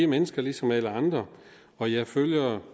mennesker ligesom alle andre og jeg følger